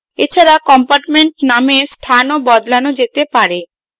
এছাড়া compartment নামের স্থানও বদলানো যেতে পারে